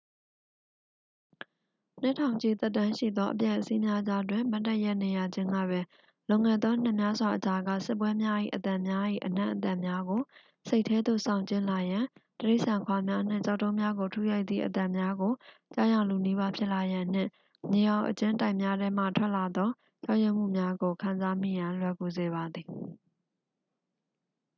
နှစ်ထောင်ချီသက်တမ်းရှိသောအပျက်အစီးများကြားတွင် မတ်တပ်ရပ်နေရခြင်းကပင် လွန်ခဲ့သောနှစ်များစွာအကြာက စစ်ပွဲများ၏ အသံများ၏အနံ့အသက်များကို စိတ်ထဲသို့ဆောင်ကြဉ်းလာရန် တိရစ္ဆာန်ခွာများနှင့် ကျောက်တုံးများကိုထုရိုက်သည့်အသံများကို ကြားယောင်လုနီးပါးဖြစ်လာရန်နှင့် မြေအောက်အကျဉ်းတိုက်များထဲမှထွက်လာသောကြောက်ရွံ့မှုများကို ခံစားမိရန် လွယ်ကူစေပါသည်